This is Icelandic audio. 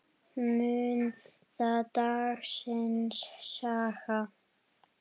Mun það dagsins saga.